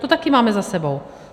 To taky máme za sebou.